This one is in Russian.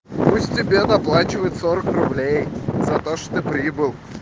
пусть тебе доплачивают сорок руб за то что ты прибыл